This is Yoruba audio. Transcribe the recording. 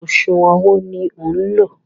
Ọ̀sùwọ̀n wo ní o lò?